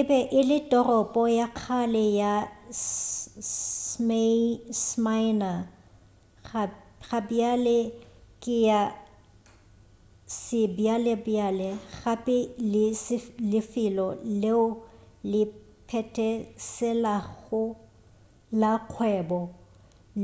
e be e le toropo ya kgale ya smyrna gabjale ke ya sebjalebjale gape le lefelo leo le phetheselago la kgwebo